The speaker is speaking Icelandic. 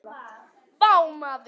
Vá maður!